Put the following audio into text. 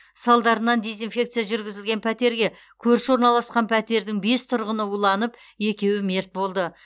салдарынан дезинфекция жүргізілген пәтерге көрші орналасқан пәтердің бес тұрғыны уланып екеуі мерт болды